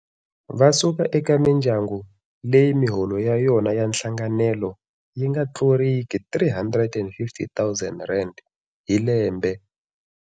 Va suka eka mindyangu leyi miholo ya yona ya nhlanganelo yi nga tluriki R350 000 hi lembe.